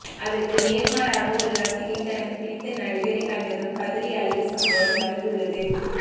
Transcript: அதற்கு நேர்மாறாக ஒரு ரசிகை தனக்கு பிடித்த நடிகரை கண்டதும் கதறி அழுத சம்பவம் நடந்துள்ளது